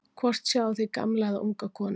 hvort sjáið þið gamla eða unga konu